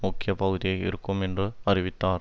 முக்கிய பகுதியாக இருக்கும் என்று அறிவித்தார்